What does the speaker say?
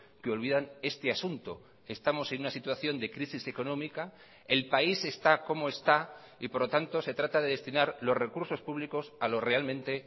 que olvidan este asunto estamos en una situación de crisis económica el país está como está y por lo tanto se trata de destinar los recursos públicos a lo realmente